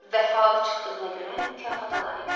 Vəfalı çıxdığına görə mükafata layiqdir.